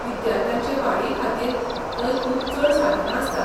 विद्यार्थ्यांचे वाडी खातीर थंय खूब चड साधनां आसतात.